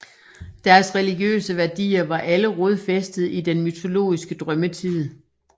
Deres religiøse værdier var alle rodfæstede i den mytologiske drømmetid